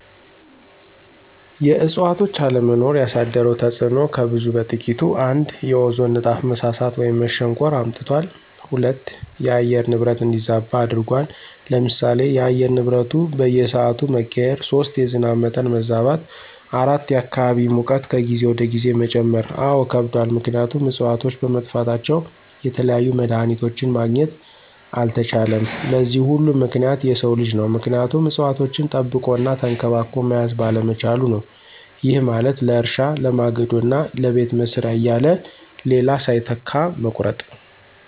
የእዕፅዋቶች አለመኖር ያሳደረው ተፅዕኖ ከብዙ በጥቂቱ፦ ፩) የኦዞን ንጣፍ መሳሳት ወይም መሸንቆር አምጥቷል። ፪) የአየር ንብረት እንዲዛባ አድርጎታል። ለምሳሌ፦ የአየር ንብረቱ በየስዓቱ መቀያየር። ፫) የዝናብ መጠን መዛባት። ፬) የአካባቢ ሙቀት ከጊዜ ወደ ጊዜ መጨመር። አዎ ከብዷል ምክንያቱም እፅዋቶች በመጥፋታቸው የተለያዩ መድሀኒቶችን ማግኘት አልተቻለም። ለዚህ ሁሉ ምክንያት የሰው ልጅ ነው ምክንያቱም እፅዋቶችን ጠብቆ እና ተንከባክቦ መያዝ ባለመቻሉ ነው። ይህ ማለት ለእርሻ፣ ለማገዶ እና ለቤት መስሪያ እያለ ሌላ ሳይተካ መቁረጡ።